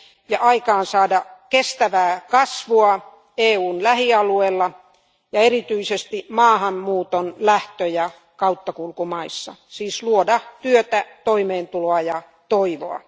ja aikaansaada kestävää kasvua EUn lähialueilla ja erityisesti maahanmuuton lähtö ja kauttakulkumaissa siis luoda työtä, toimeentuloa ja toivoa.